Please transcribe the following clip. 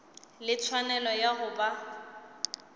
le tshwanelo ya go ba